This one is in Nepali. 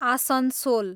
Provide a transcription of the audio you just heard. आसनसोल